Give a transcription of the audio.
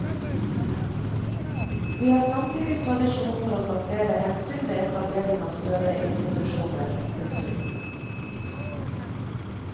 Vi har samtidig tradisjon for å ta flere hensyn ved etablering av større institusjoner. punktum